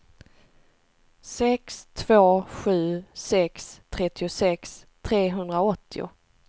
sex två sju sex trettiosex trehundraåttio